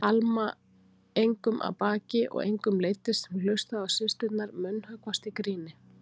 Alma engum að baki og engum leiddist sem hlustaði á systurnar munnhöggvast í gríni.